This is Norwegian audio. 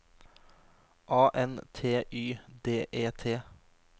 A N T Y D E T